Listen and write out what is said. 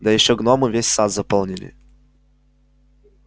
да ещё гномы весь сад заполнили